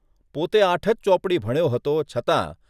પોતે આઠ જ ચોપડી ભણ્યો હતો છતાં